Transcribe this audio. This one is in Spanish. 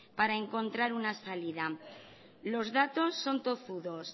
para encontrar una salida los datos son tozudos